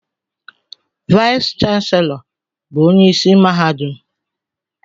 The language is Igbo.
Vice Chancellor bụ onye isi mahadum.